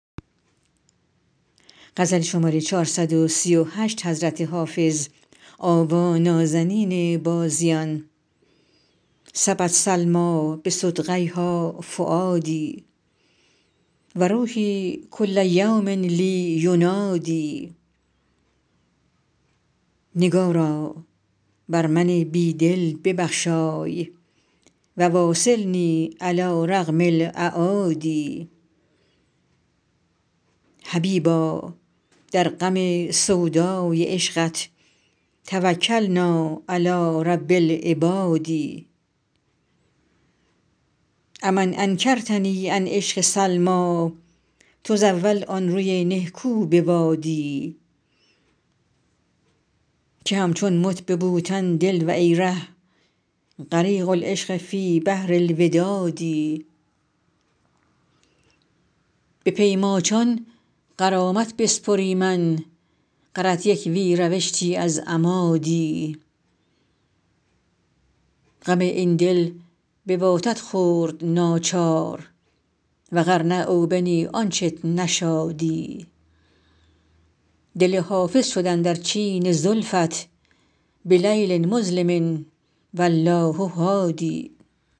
سبت سلمیٰ بصدغیها فؤادي و روحي کل یوم لي ینادی نگارا بر من بی دل ببخشای و واصلني علی رغم الأعادي حبیبا در غم سودای عشقت توکلنا علی رب العباد أ من انکرتني عن عشق سلمیٰ تزاول آن روی نهکو بوادی که همچون مت به بوتن دل و ای ره غریق العشق فی بحر الوداد به پی ماچان غرامت بسپریمن غرت یک وی روشتی از اما دی غم این دل بواتت خورد ناچار و غر نه او بنی آنچت نشادی دل حافظ شد اندر چین زلفت بلیل مظلم و الله هادی